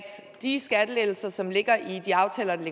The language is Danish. de skattelettelser som ligger i de aftaler der